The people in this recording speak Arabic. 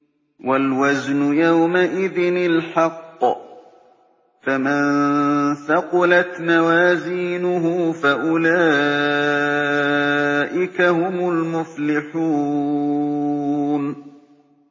وَالْوَزْنُ يَوْمَئِذٍ الْحَقُّ ۚ فَمَن ثَقُلَتْ مَوَازِينُهُ فَأُولَٰئِكَ هُمُ الْمُفْلِحُونَ